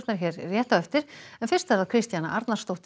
hér rétt á eftir Kristjana Arnarsdóttir